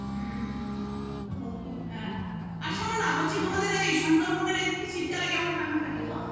আর শোনো না বলছি তোমাদের ওই সুন্দরবন -এর দিকে শীতকালে কেমন ঠান্ডা থাকে গো?